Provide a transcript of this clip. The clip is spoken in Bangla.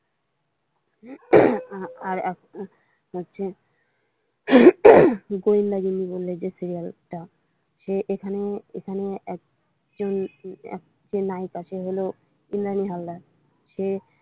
উম আর হচ্ছে উম গোয়েন্দাগিন্নি বলে যে সিরিয়ালটা সে এখানে একটা নায়িকা সে হলো ইন্দ্রাণী হালদার সে।